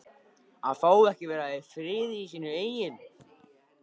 AÐ FÁ EKKI AÐ VERA Í FRIÐI Í SÍNU EIGIN